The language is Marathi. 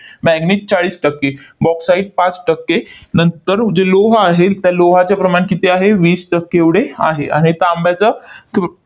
manganese चाळीस टक्के, bauxite पाच टक्के, नंतर जे लोह आहे, त्या लोहाचं प्रमाण किती आहे? वीस टक्के एवढे आहे. आणि तांब्याचं